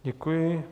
Děkuji.